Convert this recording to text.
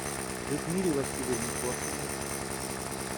людмиле васильевне коркиной